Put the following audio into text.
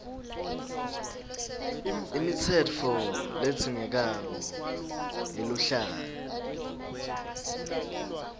imitsetfo ledzingekako yeluhlaka